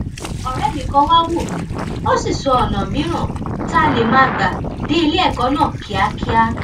òré mi kan wá wò mí ó sì sọ ònà mìíràn tá a lè máa gbà dé iléẹkọ náà kíákíá